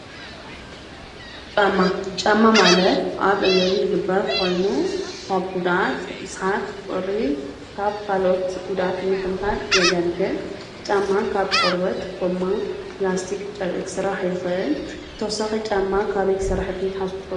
ጫማ ፡-ጫማ ማለት ኣብ እግሪ ዝግበር ኾይኑ ካብ ጕዳኣት ካብ ቁሪ ካብ ኻለኦት ጉድኣት ምክልካል የገልግል፡፡ ጫማ ካብ ቆርበት፣ ጎማ፣ ኘላስቲክ፣ ጨርቂ ክስራሕ ይኽአል፡፡ ብተውሳኺ ጫማ ካበይ ክስራሕ ይኽእል ኢልኩም ትሓስቡ ትኾኑ?